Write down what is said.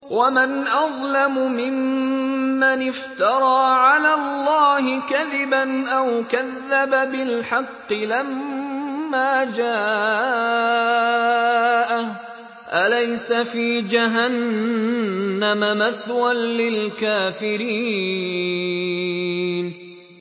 وَمَنْ أَظْلَمُ مِمَّنِ افْتَرَىٰ عَلَى اللَّهِ كَذِبًا أَوْ كَذَّبَ بِالْحَقِّ لَمَّا جَاءَهُ ۚ أَلَيْسَ فِي جَهَنَّمَ مَثْوًى لِّلْكَافِرِينَ